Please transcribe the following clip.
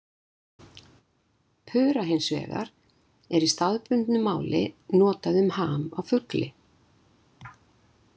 Pura hins vegar er í staðbundnu máli notað um ham á fugli.